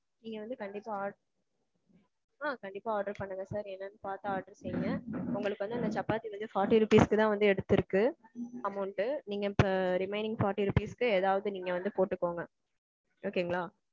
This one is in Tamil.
நீங்க வந்து கண்டிப்பா order. ஆ. கண்டிப்பா order பண்ணுங்க sir. என்னனு பாத்து order செய்ங்க. உங்களுக்கு வந்து சப்பாத்தி வந்து forty rupees க்கு தான் வந்து எடுத்திருக்கு amount நீங்க மிச்சம் remaining forty rupees க்கு ஏதாவது நீங்க வந்து போட்டுக்கோங்க. okay ங்களா